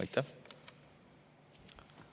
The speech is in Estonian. Aitäh!